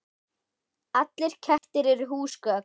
Allir kettir eru húsgögn